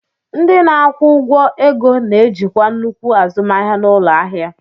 Ndị na-akwụ ụgwọ ego na-ejikwa nnukwu azụmahịa n'ụlọ ahịa.